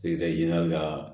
ka